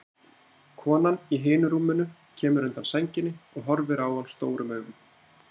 Konan í hinu rúminu kemur undan sænginni og horfir á hann stórum augum.